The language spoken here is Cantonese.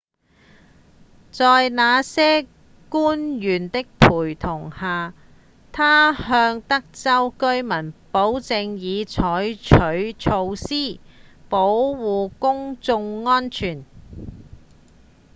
在那些官員的陪同下他向德州居民保證已採取措施保護公眾安全